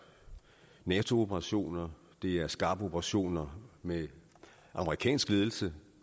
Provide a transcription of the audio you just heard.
nato operationer det er skarpe operationer med amerikansk ledelse